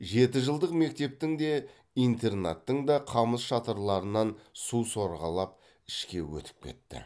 жетіжылдық мектептің де интернаттың да қамыс шатырларынан су сорғалап ішке өтіп кетті